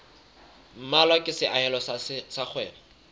mmalwa ke seahelo sa kgwebo